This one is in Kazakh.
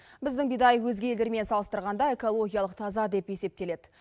біздің бидай өзге елдермен салыстырғанда экологиялық таза деп есептеледі